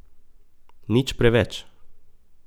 Nič preveč.